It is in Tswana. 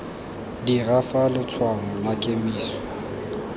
dira fa letshwaong la kemiso